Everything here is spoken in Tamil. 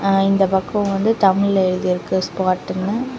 அ இந்த பக்கம் வந்து தமிழ்ல எழுதி இருக்கு ஸ்பாட்டுனு .